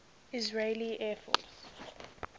israeli air force